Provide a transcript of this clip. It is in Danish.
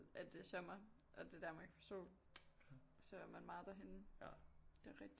At det er sommer og der Danmark får sol så er man meget derhenne det er rigtigt